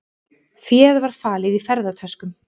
Féð var falið í ferðatöskum